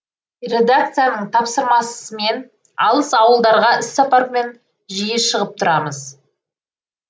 редакцияның тапсырмасымен алыс ауылдарға іссапармен жиі шығып тұрамыз